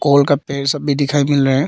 और उनका सब भी दिखाई मिल रहे हैं।